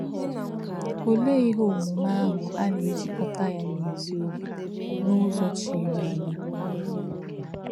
Olè̄ íhè̄ ọ̀mùmè̄ āhụ̄ ā nā̄-èjí̄kòtà̄ yá̄ nā̄ ézì ọ̀bí̄ n’ụ́zọ̄ chírí̄ ànyá̄?